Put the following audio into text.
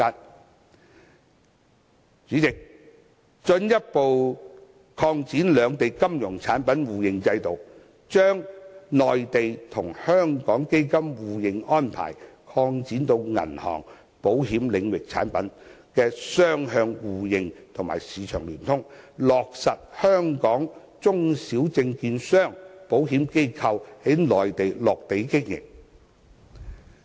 代理主席，逐步擴展兩地金融產品互認制度，將內地與香港基金互認安排擴展至銀行、保險領域產品的雙向互認和市場聯通，落實香港中小證券商、保險機構在內地落地經營。